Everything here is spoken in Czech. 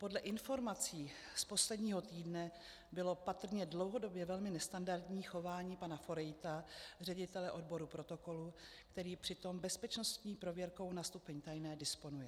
Podle informací z posledního týdne bylo patrně dlouhodobě velmi nestandardní chování pana Forejta, ředitele odboru protokolu, který přitom bezpečnostní prověrkou na stupni tajné disponuje.